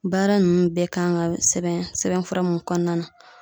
Baara ninnu bɛɛ kan ka sɛbɛn sɛbɛnfura mun kɔɔna na